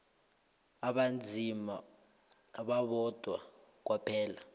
abanzima babodwa kwaphela